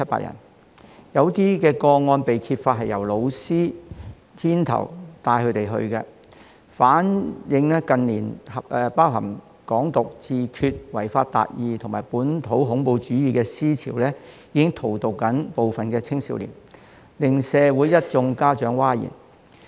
有些個案更被揭發是由教師牽頭帶領學生前往參與，反映近年包含"港獨"、"自決"、違法達義及本土恐怖主義的思潮，正在荼毒部分青少年，令一眾家長譁然。